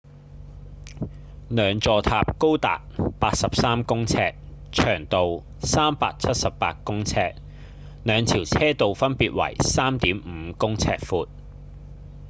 兩座塔高達83公尺長度378公尺兩條車道分別為 3.5 公尺寬